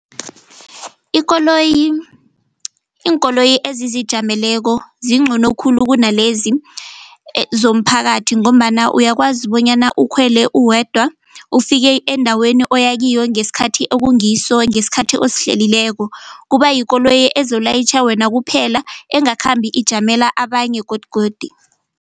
Ikoloyi iinkoloyi ezizijameleko zingcono khulu kunalezi zomphakathi ngombana uyakwazi bonyana ukhwele uwedwa ufike endaweni oyakiyo ngesikhathi ekungiso ngesikhathi osihleliweko kuba yikoloyi ezolayitjha wena kuphela engakhambi ijamela abanye godugodu.